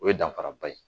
O ye danfara ba ye